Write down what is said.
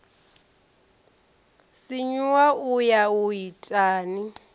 sinyuwa u ya u itani